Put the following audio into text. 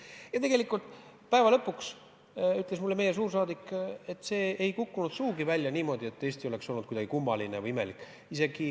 Ja tegelikult päeva lõpuks ütles mulle meie suursaadik, et see ei kukkunud sugugi välja niimoodi, et Eesti oleks tundunud kuidagi kummaline või imelik.